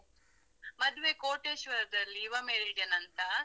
ಮದ್ವೆ ಕೋಟೇಶ್ವರದಲ್ಲಿ ಯುವ Meridian ಅಂತ.